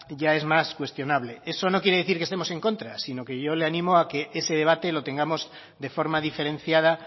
ya es más cuestionable eso no quiere decir que estemos en contra sino que yo le animo a que ese debate lo tengamos de forma diferenciada